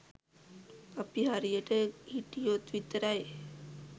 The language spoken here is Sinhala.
අපි හරියට හිටියොත් විතරයි.